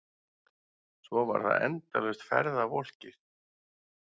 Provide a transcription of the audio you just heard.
Svo var það endalaust ferðavolkið.